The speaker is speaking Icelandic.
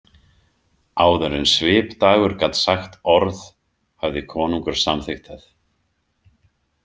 Áður en Svipdagur gat sagt orð hafði konungur samþykkt það.